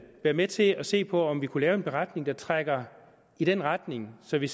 være med til at se på om vi kunne lave en beretning der trækker i den retning så vi